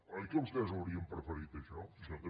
oi que vostès ho haurien preferit això jo també